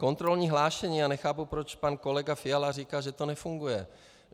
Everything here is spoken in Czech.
Kontrolní hlášení - já nechápu, proč pan kolega Fiala říká, že to nefunguje.